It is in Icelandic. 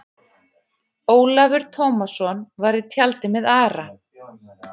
Ólafur Tómasson var í tjaldi með Ara.